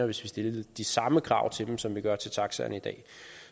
vi stiller de samme krav til dem som vi gør til taxaerne i dag